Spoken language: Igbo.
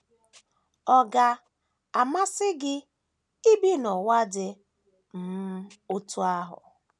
Ọ̀ ga - amasị gị ibi n’ụwa dị um otú ahụ?